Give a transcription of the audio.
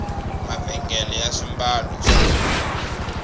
mavhengele ya swimbalo swa durha